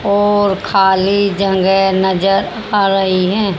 और खाली जगह नजर आ रही है।